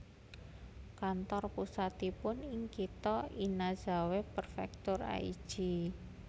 Kantor pusatipun ing kitha Inazawa Prefektur Aichi